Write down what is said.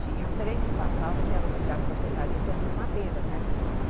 Tinha trem que passava que era obrigado para serraria para vim a madeira, né? Hm